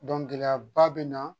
gɛlɛyaba bɛ na